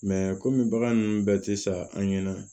kɔmi bagan nunnu bɛɛ ti sa an ɲɛna